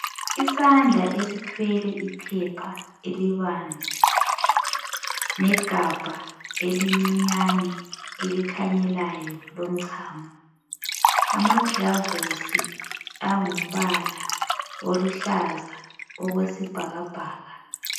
Isandla esithwele iphepha elibanzi, legabha elincinyane elikhanyelayo elomchamo, amaglavusi angumbala oluhlaza okwesibhakabhaka.